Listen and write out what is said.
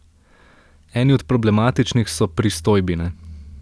Eni od problematičnih so pristojbine.